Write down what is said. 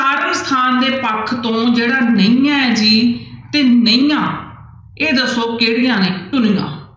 ਥਾਂ ਦੇ ਪੱਖ ਤੋਂ ਜਿਹੜਾ ਨਈਆਂ ਹੈ ਜੀ ਤੇ ਨਈਂਆਂ ਇਹ ਦੱਸੋ ਕਿਹੜੀਆਂ ਨੇ ਧੁਨੀਆਂ।